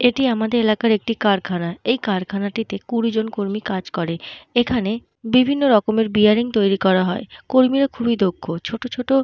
এটি আমাদের এলাকার একটি কারখানা। এই কারখানাটিতে কুড়ি জন কর্মী কাজ করে। এখানে বিভিন্ন রকমের বেয়ারিং তৈরি করা হয়। কর্মীরা খুবই দক্ষ। ছোট ছোট --